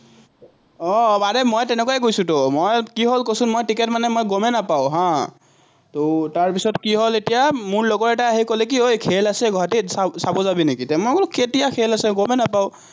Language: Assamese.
আহ আৰে মই তেনেকুৱাই গৈছোতো, মই কি হ'ল কচোন, মই টিকট মানে গমেই নাপাওঁ হা, তাৰপিচত কি হ'ল এতিয়া, মোৰ লগৰ এটাই আহি ক'লে, ঐ খেল আছে গুৱাহাটীত চাব যাবি নেকি, মই বোলো কেতিয়া খেল আছে, গমেই নাপাওঁ।